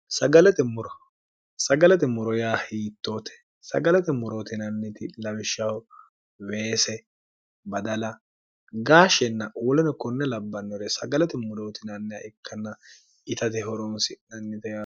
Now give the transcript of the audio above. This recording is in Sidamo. sagalate moro yaa hiittoote sagalate morootinanniti lawishshaho weese badala gaashshenna uulano konne labbannore sagalate morootinannia ikkanna itate horoonsi nannite